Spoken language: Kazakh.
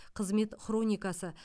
қызмет хроникасы